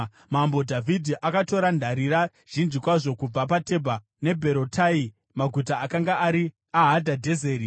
Mambo Dhavhidhi akatora ndarira zhinji kwazvo kubva paTebha neBherotai, maguta akanga ari aHadhadhezeri.